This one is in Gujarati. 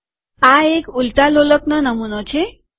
આ એક ઉલટા લોલકનો નમુનો છે